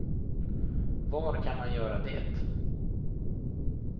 Var kan man göra det?